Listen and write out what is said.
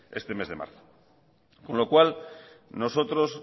este mes de marzo con lo cual nosotros